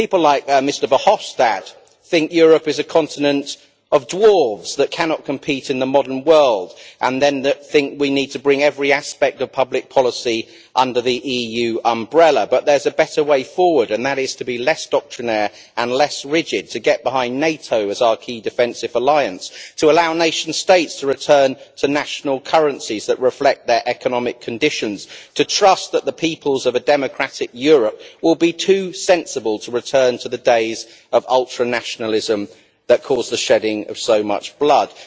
People like Mr Verhofstadt think Europe is a continent of dwarves that cannot compete in the modern world and that we need to bring every aspect of public policy under the EU umbrella. But there is a better way forward and that is to be less doctrinaire and less rigid, to get behind NATO as our key defensive alliance, to allow nation states to return to national currencies that reflect their economic conditions, to trust that the peoples of a democratic Europe will be too sensible to return to the days of ultra nationalism that caused the shedding of so much blood.